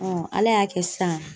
Ala y'a kɛ sisan